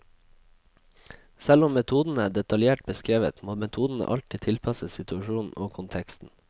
Selv om metodene er detaljert beskrevet, må metodene alltid tilpasses situasjonen og konteksten.